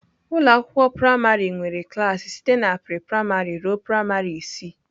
Ụlọ akwụkwọ praịmarị nwere klas site na pre-praịmarị ruo praịmarị isii.